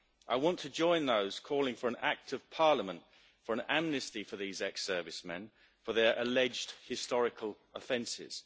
I want to join those calling for an act of Parliament for an amnesty for these ex servicemen for their alleged historical offences.